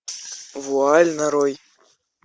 вуаль нарой